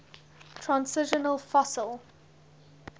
transitional fossil